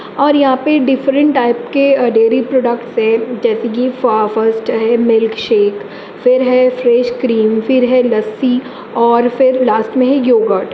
और यहां पर डिफरेंट टाइप्स के डेरी प्रोडक्ट हैं जैसे की फर्स्ट हैमिल्कशेक फिर है फ्रेश क्रीम फिर है लस्सी और लास्ट में--